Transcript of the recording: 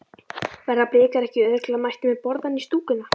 Verða Blikar ekki örugglega mættir með borðann í stúkuna?